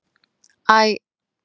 Æ